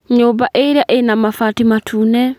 Nyũmba ĩrĩa ĩna mabati matune.